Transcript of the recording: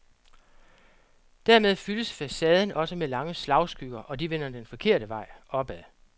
Dermed fyldes facaden også med lange slagskygger, og de vender den forkerte vej, opad.